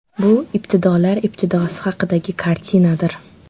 Bu ibtidolar ibtidosi haqidagi kartinadir.